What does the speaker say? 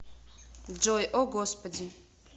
джой о господи